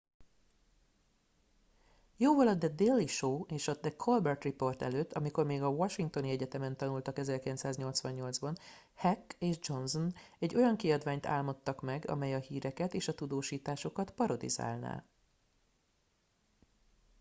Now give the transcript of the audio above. jóval a the daily show és a the colbert report előtt amikor még a washingtoni egyetemen tanultak 1988 ban heck és johnson egy olyan kiadványt álmodtak meg amely a híreket és a tudósításokat parodizálná